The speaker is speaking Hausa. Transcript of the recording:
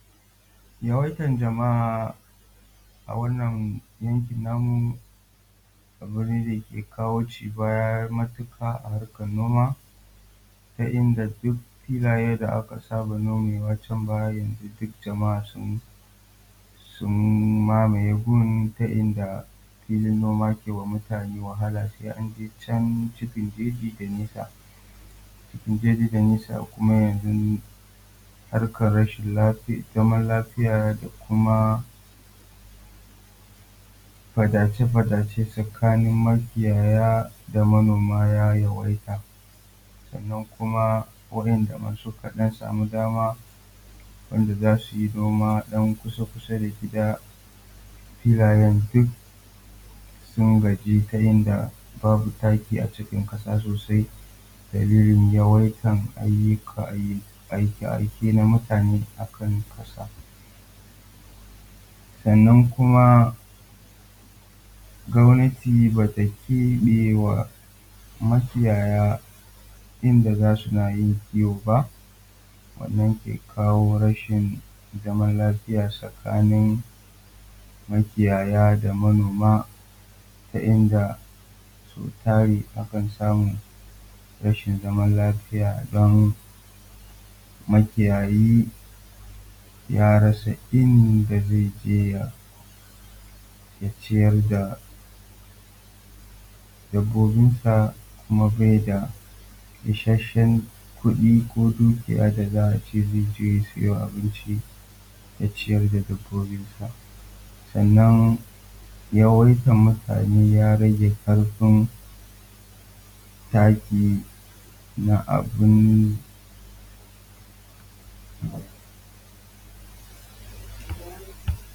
Yawaitan jama'a a wannan yanki namu abu ne dake kawo ci baya matuƙa a harkan noma ta inda duk filayen da aka saba nomawa can baya yanzu duk jama'a su mamaye gun ta inda filin noma ke ma mutane wahala sai an je can cikin jeji da nisa cikin jeji da nisa, kuma yanzu harkan rashin zaman lafiya da kuma faɗace faɗace tsakani makiyaya da manoma ya yawaita. Sannan kuma wa'inda ma suka ɗan samu dama wanda za su yi noma ɗan kusa da gida filayan duk sun gaji ta yanda babu taki a ciki ƙasa sosai dalilin yawaitan aike aike na mutane akan ƙasa. Sannan kuma gwamnati ba ta keɓe wa makiyaya inda za su na yin kiwo ba, wannan ke kawo rashin zaman lafiya tsakanin makiyaya da manoma ta inda so tari akan samu rashin zaman lafiya don makiyayi ya rasa inda zai je ya ciyar da dabobinsa, kuma bai da ishashshen kuɗi ko dukiya da za a ce zai je ya siyo abinci ya ciyar da dabobinsa. Sannan yawaitan mutane ya rage ƙarfin taki na abin.